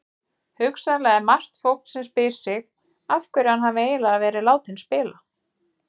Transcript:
Hugsanlega er margt fólk sem spyr sig af hverju hann hafi eiginlega verið látinn spila?